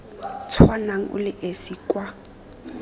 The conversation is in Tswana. tshwanang o le esi kwa